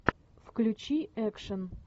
включи экшен